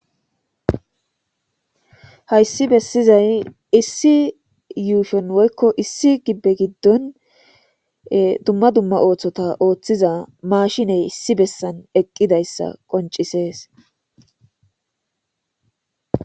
Haysi besizaysi issi yushoni woyko issi gibe gidoni dumma dumma osota othiza maashiney issi besani eqidaysa qoncisesi.